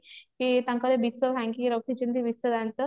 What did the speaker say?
କି ତାଙ୍କର ବିଷ ଭାଙ୍ଗିକି ରଖିଛନ୍ତି ବିଷ ଦାନ୍ତ